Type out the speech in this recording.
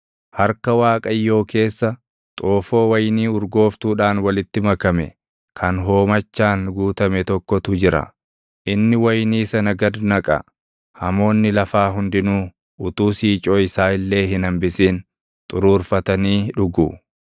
Harka Waaqayyoo keessa, xoofoo wayinii urgooftuudhaan walitti makame kan hoomachaan guutame tokkotu jira; inni wayinii sana gad naqa; hamoonni lafaa hundinuu utuu siicoo isaa illee hin hambisin // xuruurfatanii dhugu.